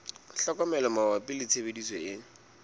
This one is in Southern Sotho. tlhokomelo mabapi le tshebediso e